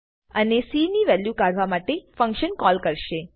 અને cની વેલ્યુ કાઢવા માટે ફંક્શન કોલ કરશે